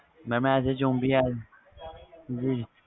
mam as a zombi